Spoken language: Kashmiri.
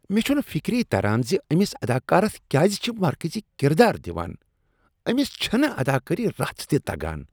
مےٚ چھنہٕ فکری تران زِ أمس اداکارس کیٛازِ چِھ مرکزی کردار دِوان۔ أمس چَھنہٕ اداکٲری رژھ تہِ تگان۔